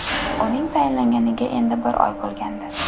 Uning tayinlanganiga endi bir oy bo‘lgandi.